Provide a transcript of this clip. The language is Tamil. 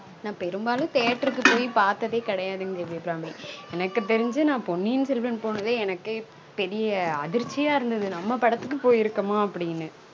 நான் பெரும்பாலும் theatre க்கு போய் பார்த்ததே கெடயாதுங்க தேவி அபிராமி எனக்கு தெரிஞ்சு நான் பொன்னியின் செல்வன் பொனதே எனக்கு பெரிய அதிர்ச்சி யா இருந்தது நம்ம படத்துக்கு போயிருகமா அப்டினு